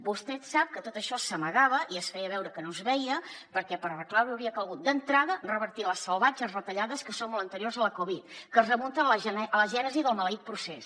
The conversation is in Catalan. vostè sap que tot això s’amagava i es feia veure que no es veia perquè per arreglar ho hauria calgut d’entrada revertir les salvatges retallades que són molt anteriors a la covid que es remunten a la gènesi del maleït procés